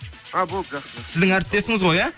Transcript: а болды жақсы сіздің әріптесіңіз ғой иә